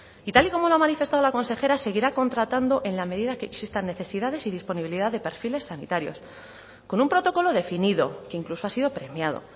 y tal y como lo ha manifestado la consejera seguirá contratando en la medida que existan necesidades y disponibilidad de perfiles sanitarios con un protocolo definido que incluso ha sido premiado